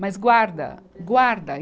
Mas guarda, guarda.